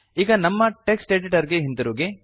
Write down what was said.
ಈಗ ನಮ್ಮ text editor ಗೆ ಹಿಂತಿರುಗಿ